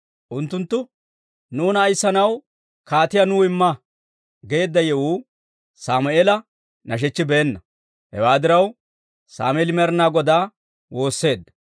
Unttunttu, «Nuuna ayissanaw kaatiyaa nuw imma» geedda yewuu Sammeela nashechchibeenna. Hewaa diraw, Sammeeli Med'inaa Godaa woosseedda.